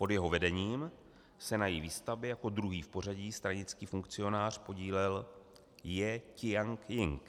Pod jeho vedením se na její výstavbě jako druhý v pořadí stranický funkcionář podílel Jie Ťian-jing.